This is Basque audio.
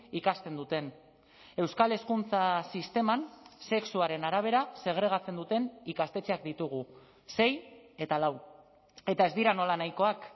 ikasten duten euskal hezkuntza sisteman sexuaren arabera segregatzen duten ikastetxeak ditugu sei eta lau eta ez dira nolanahikoak